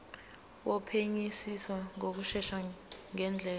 wophenyisiso ngokushesha ngendlela